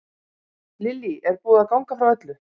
Lillý, er búið að ganga frá öllu?